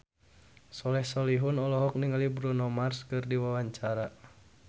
Soleh Solihun olohok ningali Bruno Mars keur diwawancara